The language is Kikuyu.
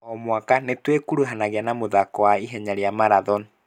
O mwaka nĩtwĩkuruhanagia na mũthako wa ihenya rĩa marathon